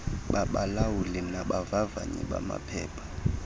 babalawuli nabavavanyi bamaphepha